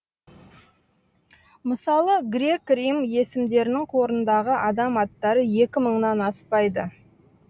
мысалы грек рим есімдерінің қорындағы адам аттары екі мыңнан аспайды